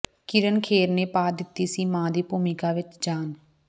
ਕਿਰਨ ਖੇਰ ਨੇ ਪਾ ਦਿੱਤੀ ਸੀ ਮਾਂ ਦੀ ਭੂਮਿਕਾ ਵਿੱਚ ਜਾਨ